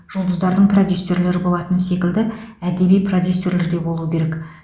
жұлдыздардың продюссерлері болатыны секілді әдеби продюсерлер де болуы керек